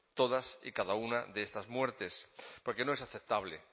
todas y cada una de estas muertes porque no es aceptable